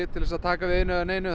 til að taka við einu eða neinu